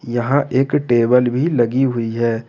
यहां एक टेबल भी लगी हुई है।